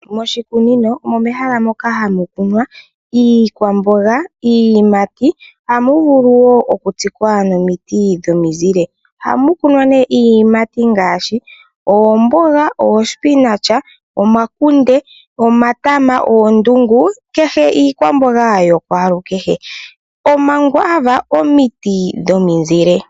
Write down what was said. Moshikunino omo mehala moka hamu kunwa iikwamboga niiyimati. Ohamu vulu wo oku tsikwa nomiti dhomi zile. Ohamu kunwa iiyimati ngaashi oomboga, omakunde , omatama, oondungu kehe iikwamboga yakwalukehe. Omakwaava omiti dhomizile.